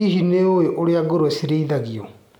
Hihi nĩũĩ ũrĩa ngũrũwe cirĩithagio.